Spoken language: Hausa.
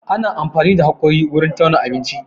Ana amfani da haƙori wurin tauna abinci